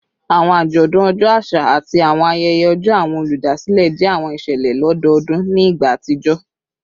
Awọn ajọdun ọjọ aṣa ati awọn ayẹyẹ ọjọ awọn oludasilẹ jẹ awọn iṣẹlẹ lododun ni igba atijọ